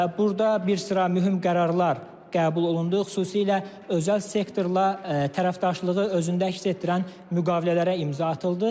Burda bir sıra mühüm qərarlar qəbul olundu, xüsusilə özəl sektorla tərəfdaşlığı özündə əks etdirən müqavilələrə imza atıldı.